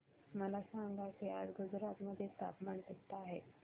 मला सांगा की आज गुजरात मध्ये तापमान किता आहे